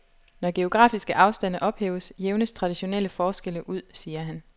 Når geografiske afstande ophæves, jævnes traditionelle forskelle ud, siger han.